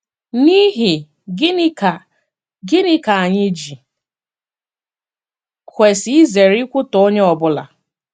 N’ihi gịnị ka gịnị ka anyị ji kwesị izere ikwutọ onye ọ bụla?